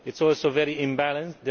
It is also very imbalanced.